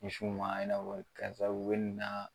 Misiw ma ɲɛnabɔ karisa u be nin naa